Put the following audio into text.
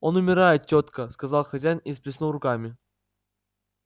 он умирает тётка сказал хозяин и всплеснул руками